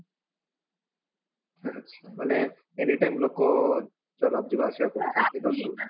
ମାନେ anytime ଲୋକ ଯିବା ଆସିବା କରୁଥିବେ